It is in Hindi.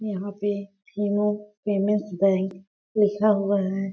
यहाँ पे फेमस फेमस बैंक लिखा हुआ है।